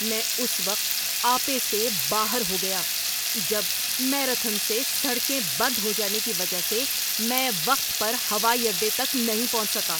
میں اس وقت آپے سے باہر ہو گیا جب میراتھن سے سڑکیں بند ہو جانے کی وجہ سے میں وقت پر ہوائی اڈے تک نہیں پہنچ سکا۔